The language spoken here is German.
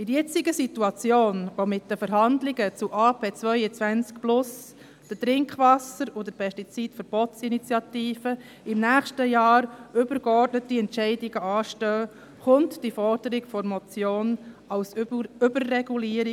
In der jetzigen Situation, in der mit den Verhandlungen des Bundes zur Agrarpolitik ab 2022 (AP 22+), der Trinkwasserinitiative und der Pestizid-Initiative im nächsten Jahr übergeordnete Entscheidungen anstehen, versteht man die Forderung der Motion als Überregulierung.